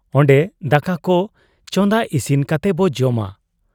ᱚᱱᱰᱮ ᱫᱟᱠᱟᱠᱚ ᱪᱟᱸᱫᱟ ᱤᱥᱤᱱ ᱠᱟᱛᱮᱵᱚ ᱡᱚᱢᱟ ᱾